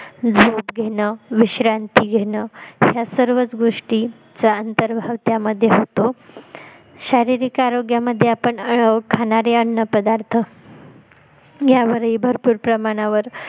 झोप घेण विश्रांती घेणं ह्या सर्वच गोष्टी चा अंतर्ग त्यामध्ये होतो शारीरिक आरोग्यामध्ये आपण खाणारे अन्न पदार्थ यावरही भरपूर प्रमाणावर